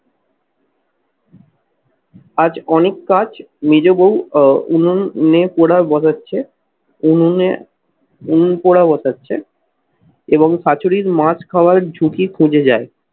আজ অনেক কাজ মেজ বউ আহ উনুন মেয়ে বসাচ্ছে। উনুনে উনুন পোড়া বসাচ্ছে এবং শাশুড়ির মাছ খাওয়ার ঝুঁকি খুঁজে যাই।